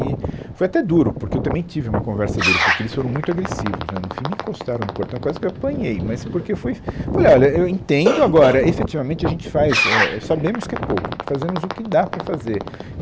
E foi até duro, porque eu também tive uma conversa dura, porque eles foram muito agressivos, né, no fim me encostaram no portão, eu quase que eu apanhei, mas porque eu fui... Eu Falei, olha, eu entendo agora, efetivamente a gente faz, é, eu, sabemos que é pouco, fazemos o que dá para fazer.